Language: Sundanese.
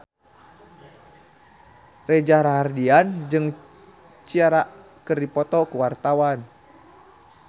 Reza Rahardian jeung Ciara keur dipoto ku wartawan